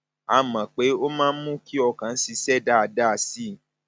a mọ pé pé ó máa ń mú kí ọkàn ṣiṣẹ dáadáa sí i